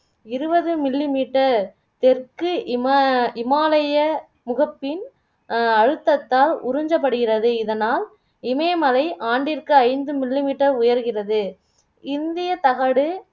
இருபது millimeter தெற்கு இம இமாலய முகப்பின் அஹ் அழுத்தத்தால் உரிஞ்சப்படுகிறது இதனால் இமயமலை ஆண்டிற்கு ஐந்து millimeter உயர்கிறது இந்திய தகடு